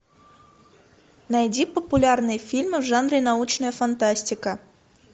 найди популярные фильмы в жанре научная фантастика